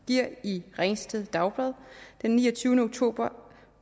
giver i ringsted dagblad den niogtyvende oktober